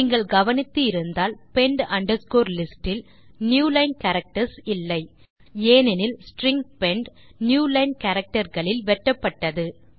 நீங்கள் கவனித்து இருந்தால் பெண்ட் அண்டர்ஸ்கோர் லிஸ்ட் இல் நியூலைன் கேரக்டர்ஸ் இல்லைஏனெனில் ஸ்ட்ரிங் பெண்ட் நியூலைன் கேரக்டர் களில் வெட்டப்பட்டது